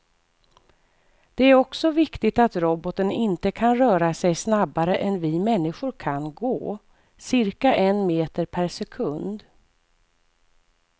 Det är också viktigt att roboten inte kan röra sig snabbare än vi människor kan gå, cirka en meter per sekund.